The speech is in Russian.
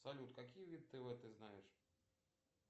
салют какие виды тв ты знаешь